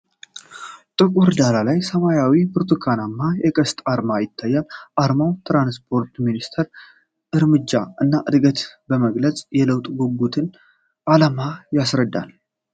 ጥቁር ዳራ ላይ ሰማያዊና ብርቱካናማ የቀስት አርማ ይታያል ። አርማው የትራንስፖርት ሚኒስቴርን እርምጃ እና እድገት በመግለጽ የለውጥ ጉጉትንና ዓላማን ያስረዳል።